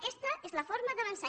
aquesta és la forma d’avançar